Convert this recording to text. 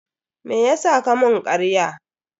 Meyasa ka mun karya?